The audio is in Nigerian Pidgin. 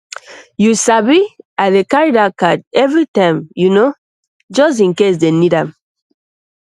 you sabi i dey carry that card every time you know just in case dem need am